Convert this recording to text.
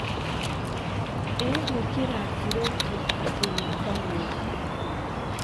Ĩ gwıkĩra ngirũbu ta kĩririkanio?